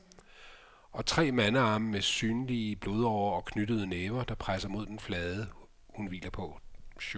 Og tre mandearme med synlige blodårer og knyttede næver, der presser mod den flade hun hviler på.